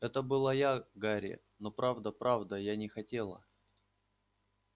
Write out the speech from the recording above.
это была я гарри но правда правда я не хотела